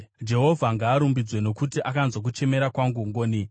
Jehovha ngaarumbidzwe, nokuti akanzwa kuchemera kwangu ngoni.